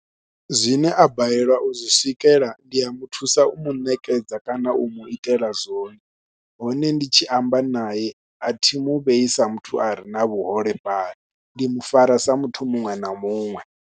Zwine a balelwa u zwi swikelela ndi a mu thusa u mu ṋekedza kana u mu itela zwone, hone ndi tshi amba nae a thi mu vhei sa muthu a re na vhuholefhali ndi mu fara sa muthu muṅwe na muṅwe.